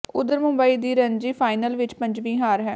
ਉਧਰ ਮੁੰਬਈ ਦੀ ਰਣਜੀ ਫਾਈਨਲ ਵਿੱਚ ਪੰਜਵੀਂ ਹਾਰ ਹੈ